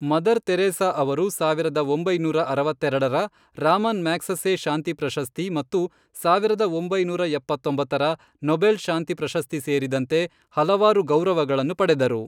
Mother Teresa ಅವರು, ಸಾವಿರದ ಒಂಬೈನೂರ ಅರವತ್ತೆರೆಡರ ರಾಮನ್ ಮ್ಯಾಗ್ಸೆಸೆ ಶಾಂತಿ ಪ್ರಶಸ್ತಿ ಮತ್ತು ಸಾವಿರದ ಒಂಬೈನೂರ ಎಪ್ಪತ್ತೊಂಬತ್ತರ ನೊಬೆಲ್ ಶಾಂತಿ ಪ್ರಶಸ್ತಿ ಸೇರಿದಂತೆ ಹಲವಾರು ಗೌರವಗಳನ್ನು ಪಡೆದರು.